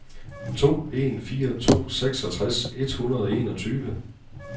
to en fire to seksogtres et hundrede og enogtyve